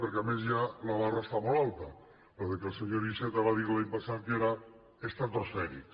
perquè a més ja la barra està molt alta allò que el senyor iceta va dir l’any passat que era estratosfèric